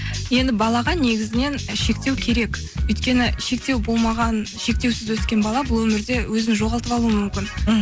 енді балаға негізінен шектеу керек өйткені шектеу болмаған шектеусіз өскен бала бұл өмірде өзін жоғалтып алуы мүмкін мхм